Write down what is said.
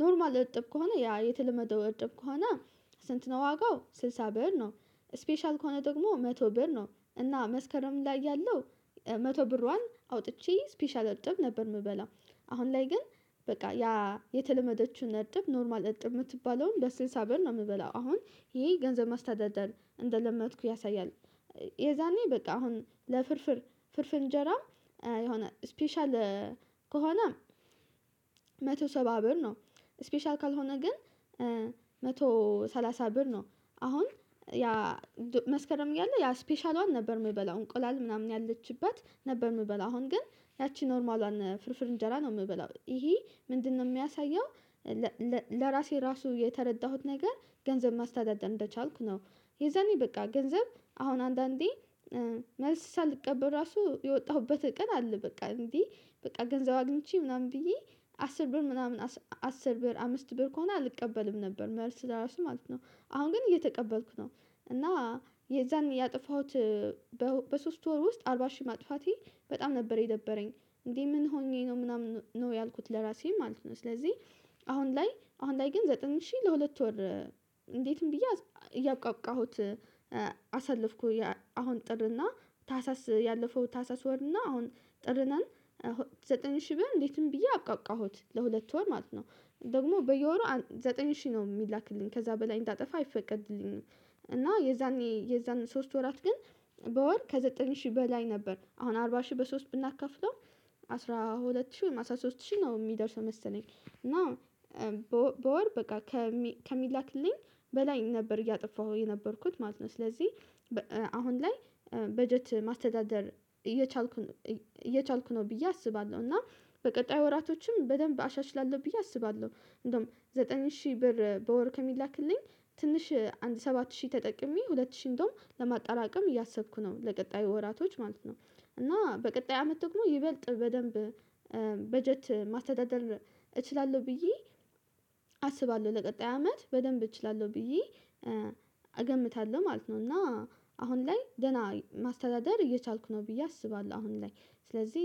ኖርማል እርጥብ ከሆነ ያ የተለመደው እርጥብ ከሆነ ስንት ነው ዋጋው ስድሳ ብር ነው? ስፔሻል ከሆነ ደግሞ መቶ ብር ነው እና መስከረም ላይ ያለው መቶ ብሯን አውጥቼ ስፔሻል እርጥብ ነበር የምበላው አሁን ላይ ግን በቃ ያ የተለመደችውን እርጥብ ኖርማል እጥብ የምትባለውን በስልሳብር ነው የምበላው። አሁን ይሄ ገንዘብ ማስተዳደር እንደለመድኩ ያሳያል የዛኔ በቃ አሁን ለፍርፍር ፍርፍር እንጀራ የሆነ ስፔሻል ከሆነ መቶ ሰባ ብር ነው ስፔሻል ካልሆነ ግን መቶ ሰላሳ ብር ነው። አሁን ያ መስከረም እያለ ያ ስፔሻሏን ነበር የምበላው እንቁላል ምናምን ያለችበት ነበር የምበላው አሁን ግን ያቺ ኖርማሏን ፍርፍር እንጀራ ነው የምበላው ይሄ ምንድነው የሚያሳየው? ለራሴ ራሱ የተረዳሁት ነገር ገንዘብ ማስተዳደር እንደቻልኩ ነው። የዛኔ በቃ ገንዘብ አሁን አንዳንዴ መልስ ሳልቀበል ራሱ የወጣሁበት ቀን አለ በቃ እንዴ በቃ ገንዘብ አግኝቼ ምናምን ብዬ አስር ብር ምናምን አስር ብር አምስት ብር ከሆነ አልቀበልም ነበር መልስ ለራሱ ማለት ነው። አሁን ግን እየተቀበልኩ ነው እና የዛኔ ያጠፋሁት በሶስት ወር ውስጥ አርባ ሺህ ማጥፋቴ በጣም ነበር የደበረኝ እንዴ ምን ሆኜ ነው ምናምን ነው ያልኩት ለራሴ ማለት ነው። ስለዚህ አሁን ላይ አሁን ላይ ግን ዘጠኝ ሺህ ለሁለት ወር እንዴትም ብዬ እያብቃቃሁት አሳለፍኩኝ አሁን ጥር እና ታህሳስ ያለፈው ታህሳስ ወር እና አሁን ጥር ነን ዘጠኝ ሺህ ብር እንዴትም ብዬ አብቃቃሁት ለሁለት ወር ማለት ነው። ደግሞ በየወሩ ዘጠኝ ሺህ ነው የሚላክልኝ ከዛ በላይ እንዳጠፋ አይፈቀድልኝም። እና የዛኔ የዛን ሶስት ወራት ግን በወር ከዘጠኝ ሺህ በላይ ነበር አሁን አርባ ሺህ በሶስት ብናካፍለው አስራ ሁለት ሺህ አስራ ሶስት ሺህ ነው የሚደርሰው መሰለኝ እና በወር በቃ ከሚላክልኝ በላይ ነበር እያጠፋሁ የነበርኩት ማለት ነው። ስለዚህ አሁን ላይ በጀት ማስተዳደር እየቻልኩኝ እየቻልኩኝ ነው ብዬ አስባለሁ እና በቀጣይ ወራቶችም በደንብ አሻሽላለሁ ብዬ አስባለሁ። እንደውም ዘጠኝ ሺህ ብር በወር ከሚላክልኝ ትንሽ አንድ ሰባት ሺህ ተጠቅሜ ሁለት ሺህ እንደውም ለማጠራቀም እያሰብኩ ነው ለቀጣዩ ወራቶች ማለት ነው። እና በቀጣይ አመት ደግሞ ይበልጥ በደንብ በጀት ማስተዳደር እችላለሁ ብዬ አስባለሁ ለቀጣይ አመት በደንብ እችላለሁ ብዬ እገምታለሁ ማለት ነው። እና አሁን ላይ ደህና ማስተዳደር እየቻልኩ ነው ብዬ አስባለሁ። አሁን ላይ ስለዚህ